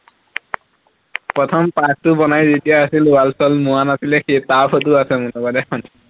প্ৰথম park টো বনাই যেতিয়া আছিল wall চোৱাল মৰা নাছিলে সেই তাৰ ফটো আছে মোৰ লগত এখন